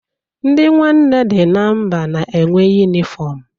Ndị Nwanne dị na Mba na-enwe yunịform.